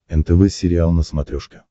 нтв сериал на смотрешке